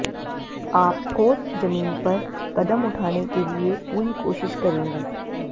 आप ठोस जमीन पर कदम उठाने के लिए पूरी कोशिश करेंगे